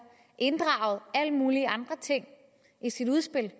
inddraget alle mulige andre ting i sit udspil